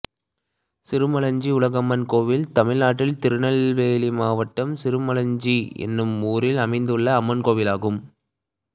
சிறுமளஞ்சி உலகம்மன் கோயில் தமிழ்நாட்டில் திருநெல்வேலி மாவட்டம் சிறுமளஞ்சி என்னும் ஊரில் அமைந்துள்ள அம்மன் கோயிலாகும்